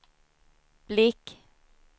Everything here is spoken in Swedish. blick